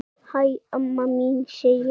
Hæ, amma mín, segi ég.